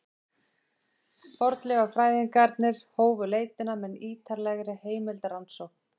Fornleifafræðingarnir hófu leitina með ýtarlegri heimildarannsókn.